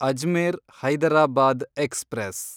Ajmer Hyderabad express